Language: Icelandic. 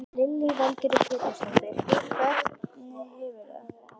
Lillý Valgerður Pétursdóttir: Hvernig hefurðu það?